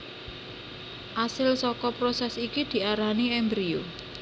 Asil saka prosès iki diarani embrio